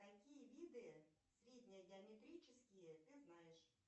какие виды средние геометрические ты знаешь